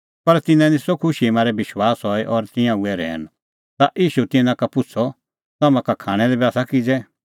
पर तिन्नां निस्सअ खुशीए मारै विश्वास हई और तिंयां हुऐ रहैन ता ईशू तिन्नां का पुछ़अ तम्हां का खाणां लै बी आसा किज़ै